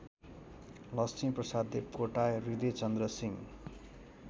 Laxmiprasad Devkota Hridaychandra Singh